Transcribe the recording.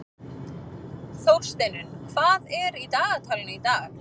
Þórsteinunn, hvað er í dagatalinu í dag?